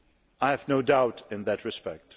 I have no doubt in that respect.